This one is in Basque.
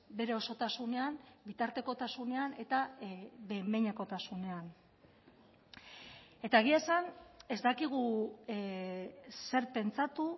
bere osotasunean bitartekotasunean eta behin behinekotasunean eta egia esan ez dakigu zer pentsatu